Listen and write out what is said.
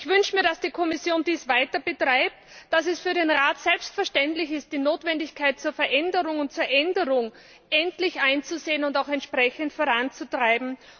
Ich wünsche mir, dass die Kommission dies weiter betreibt, dass es für den Rat selbstverständlich ist, die Notwendigkeit zur Veränderung und zur Änderung endlich einzusehen und auch entsprechend voranzutreiben.